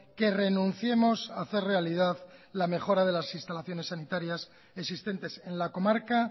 que renunciemos hacer realidad la mejora de las instalaciones sanitarias existentes en la comarca